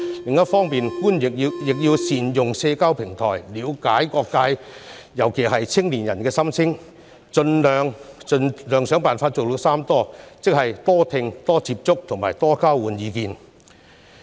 此外，官員亦要善用社交平台，了解各界，尤其是青年人的心聲，設法達成"三多"的目標，即"多聽"、"多接觸"和"多交換意見"。